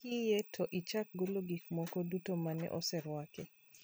Kiyie to ichak golo gik moko duto mane oserwaki